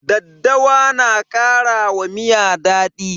Daddawa na kara wa miya daɗi.